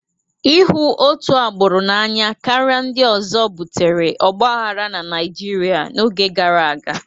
Ịhụ otu agbụrụ n'anya karịa ndị ọzọ butere ọgbaghara na Naịjirịa n'oge gara aga.